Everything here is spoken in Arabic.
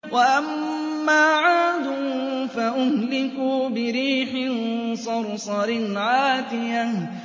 وَأَمَّا عَادٌ فَأُهْلِكُوا بِرِيحٍ صَرْصَرٍ عَاتِيَةٍ